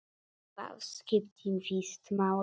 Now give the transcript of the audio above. Ég gat ráðið öllu.